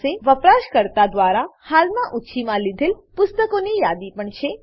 આપણી પાસે વપરાશકર્તા દ્વારા હાલમાં ઊછીમાં લીધેલ પુસ્તકોની યાદી પણ છે